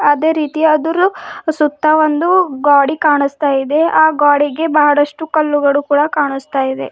ಅದೇ ರೀತಿ ಅದರು ಸುತ್ತ ಒಂದು ಗ್ವಾಡಿ ಕಾಣಿಸ್ತಾ ಇದೆ ಆ ಗ್ವಾಡಿಗೆ ಬಹಳಷ್ಟು ಕಲ್ಲುಗಳು ಕೂಡ ಕಾಣಿಸ್ತಾ ಇದೆ.